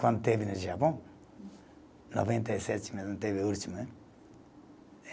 Quando teve no Japão, noventa e sete mesmo, teve o último, né?